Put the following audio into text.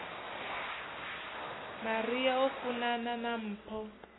maria o funana na mpho